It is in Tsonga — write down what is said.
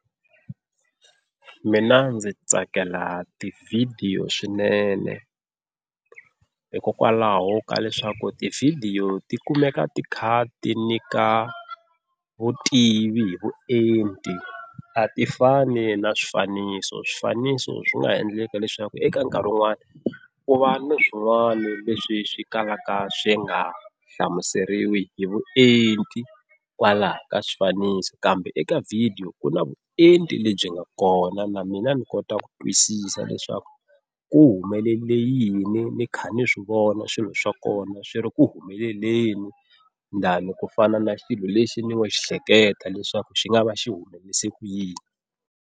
Mina ndzi tsakela tivhidiyo swinene hikokwalaho ka leswaku tivhidiyo ti kumeka ti kha ti nyika vutivi hi vuenti a ti fani na swifaniso, swifaniso swi nga endleka leswaku eka nkarhi wun'wani ku va na swin'wana leswi swi kalaka swi nga hlamuseriwiki hi vuenti kwalaho ka swifaniso. Kambe eka video ku na vuenti lebyi nga kona na mina ni kota ku twisisa leswaku ku humelele yini ni kha ni swi vona swilo swa kona swi ri ku humeleleni than ku fana na xilo lexi ni ngo xi hleketa leswaku xi nga va xi humelise ku yini.